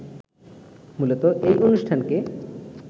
মূলত এই অনুষ্ঠানকে